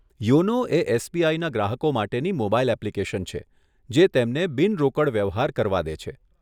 YONO એ એસબીઆઈના ગ્રાહકો માટેની મોબાઈલ એપ્લીકેશન છે, જે તેમને બિનરોકડ વ્યવહાર કરવા દે છે.